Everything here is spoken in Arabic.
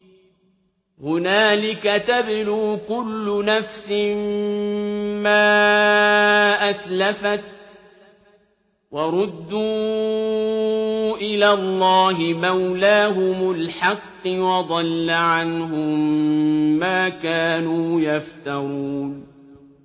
هُنَالِكَ تَبْلُو كُلُّ نَفْسٍ مَّا أَسْلَفَتْ ۚ وَرُدُّوا إِلَى اللَّهِ مَوْلَاهُمُ الْحَقِّ ۖ وَضَلَّ عَنْهُم مَّا كَانُوا يَفْتَرُونَ